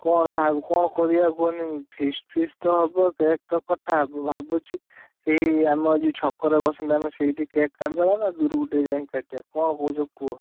କଣ ଭାବୁଛୁ କଣ କରିଆ କୁହନି? feast feast ତ ହବ cake ତ କଟା ହବ ଭାବୁଛି ସେଇ ଆମ ଆଜି ଯୋଉ ଛକ ରେ ବସନ୍ତି ସେଇଠି cake କାଟିଦେବା ନା ଦୁରୁକୁ ଟିକେ ଯାଇ କାଟିବା କଣ କରିବା କୁହ?